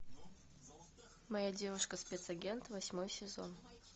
моя девушка спец агент восьмой сезон